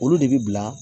Olu de bi bila